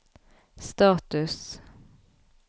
status